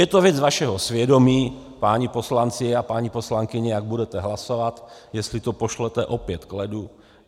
Je to věc vašeho svědomí, páni poslanci a paní poslankyně, jak budete hlasovat, jestli to pošlete opět k ledu.